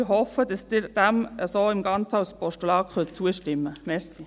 Ich hoffe, dass Sie dem Ganzen so, als Postulat, zustimmen können.